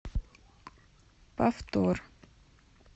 повтор